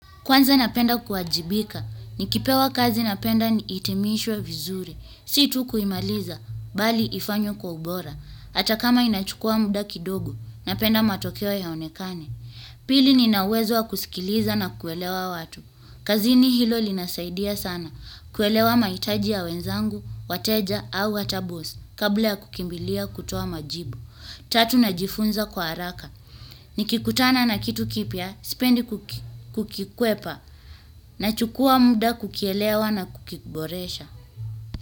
Kwanza napenda kuajibika, nikipewa kazi napenda niitimishwe vizuri, si tu kuimaliza, bali ifanywe kwa ubora, hata kama inachukua muda kidogo, napenda matokeo yaonekane. Pili nina uwezo wa kusikiliza na kuelewa watu. Kazini hilo linasaidia sana, kuelewa mahitaji ya wenzangu, wateja au hata bosi, kabla ya kukimbilia kutoa majibu. Tatu najifunza kwa haraka, nikikutana na kitu kipya, spendi kukikwepa, nachukua muda kukielewa na kukiboresha.